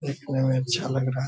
देखने मे अच्छा लग रहा है।